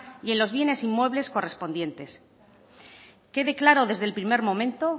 y en los bienes inmuebles correspondientes quede claro desde el primer momento